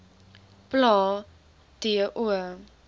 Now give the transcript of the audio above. plae t o